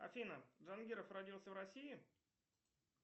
афина джангиров родился в россии